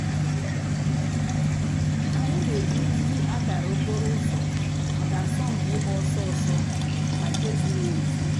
ànyị̀ nà-èjì nzù àkárà òkpòrò̩ ǔzọ̀ mǎká àsọ̀mpị̀ ị̀gba òsọ̀ òsọ̀ nà nke zìrì èzí.